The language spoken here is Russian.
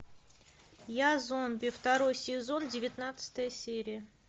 я зомби второй сезон девятнадцатая серия